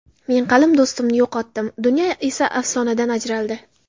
Men qalin do‘stimni yo‘qotdim, dunyo esa afsonadan ajraldi.